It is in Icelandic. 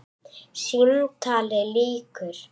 Símtali lýkur.